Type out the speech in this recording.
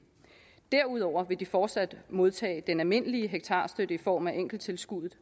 derudover vil de fortsat modtage den almindelige hektarstøtte i form af enkelttilskudet